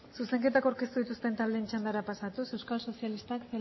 zuzenketak aurkeztu dituzten taldeen txandara pasatuz euskal sozialistak